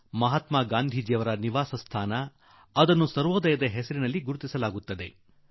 ಮಹಾತ್ಮಾ ಗಾಂಧಿಯವರ ಆ ನಿವಾಸವನ್ನು ಸರ್ವೋದಯ ರೂಪದಲ್ಲಿ ಕಾಣಲಾಗುತ್ತಿದೆ